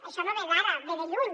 això no ve d’ara ve de lluny